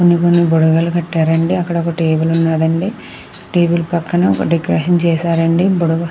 కొన్ని కొన్ని బుడగలు కట్టారు అండి. అక్కడ ఒక టేబల్ ఉన్నదండి. టేబల్ పక్కన ఒక డెకరేషన్ చేశారు అండి. బుడగలు--